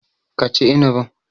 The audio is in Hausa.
Ka ci inibin.